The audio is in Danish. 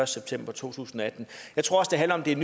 september to tusind og atten jeg tror også det handler om at det er